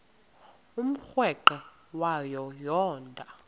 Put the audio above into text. umrweqe wayo yoonda